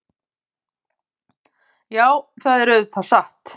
Já, það er auðvitað satt.